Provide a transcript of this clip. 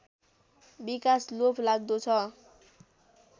विकास लोभलाग्दो छ